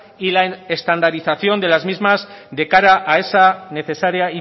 y la estandarización de las mismas de cara a esa necesaria